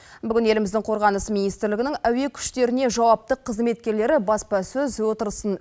бүгін еліміздің қорғаныс министрлігінің әуе күштеріне жауапты қызметкерлері баспасөз отырысын